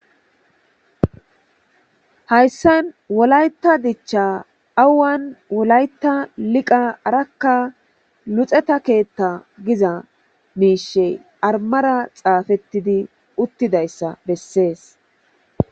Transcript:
Hayssan wolayta dichcha awan wolayat liqa, araka luxeta keeththa giza miishshi armara xaafetidi uttidayssa besses